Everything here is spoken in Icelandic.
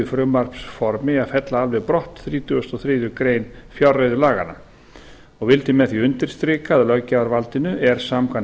frumvarpsformi að fella alveg brott þrítugasta og þriðju greinar og vildi með því undirstrika að löggjafarvaldinu er samkvæmt